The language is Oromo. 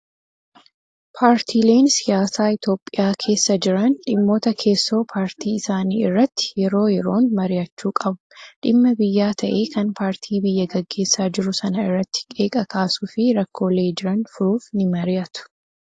Paartiileen siyaasaa Itoophiyaa keessa jiran dhimmoota keessoo paartii isaanii irratti yeroo yeroon mari'achuu qabu. Dhimma biyyaa ta'ee kan paartii biyya gaggeessaa jiru sana irratti qeeqa kaasuu fi rakkoolee jiran furuuf ni mari'atu